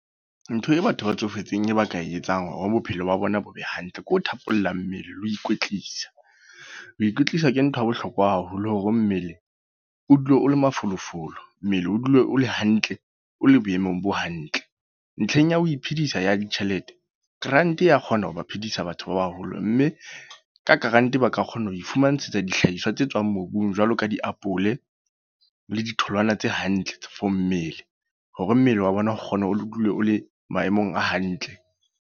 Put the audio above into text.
Ntho e batho ba tsofetseng ba ka e etsang hore bophelo ba bona bo be hantle. Ke ho thapolla mmele le ho ikwetlisa. Ho ikwetlisa ke ntho ya bohlokwa haholo, hore mmele o dule o le mafolofolo. Mmele o dule o le hantle, o le boemong bo hantle. Ntlheng ya ho iphedisa ya ditjhelete. Grant ya kgona ho ba phedisa batho ba baholo. Mme ka grant ba ka kgona ho ifumantshetsa dihlahiswa tse tswang mobung jwalo ka diapole le ditholwana tse hantle. For mmele, hore mmele wa bona o kgona o dule o le maemong a hantle.